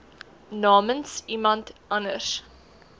namens iemand anders